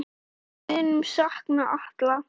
Við munum sakna Atla.